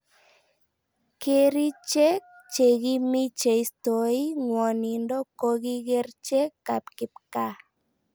Kericheek che kimii cheistoi ngwanindo koki kerchek ab kipkaa